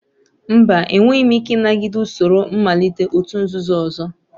Mba, enweghị m ike ịnagide usoro mmalite òtù nzuzo ọzọ